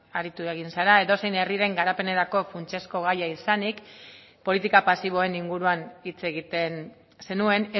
aritu egin zara edozein herriren garapenerako funtsezko gaia izanik politika pasiboen inguruan hitz egiten zenuen